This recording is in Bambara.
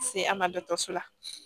Se an ma dɔgɔtɔrɔso la